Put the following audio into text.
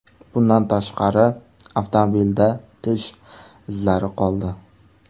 Bundan tashqari, avtomobilda tish izlari qoldi.